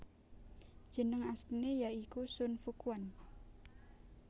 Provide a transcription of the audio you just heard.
Jeneng asline ya iku Sun Fuquan